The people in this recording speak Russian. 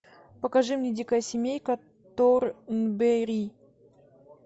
покажи мне дикая семейка торнберри